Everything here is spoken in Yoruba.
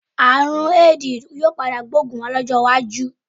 Àrùn Éèdì yóò padà gbóògùn lọ́jọ́ iwájú.